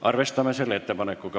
Arvestame selle ettepanekuga.